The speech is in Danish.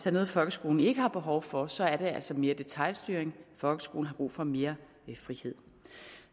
er noget folkeskolen ikke har behov for så er det altså mere detailstyring folkeskolen har brug for mere frihed